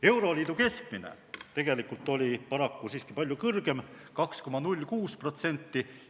Euroliidu keskmine oli tegelikult paraku siiski palju kõrgem – 2,06%.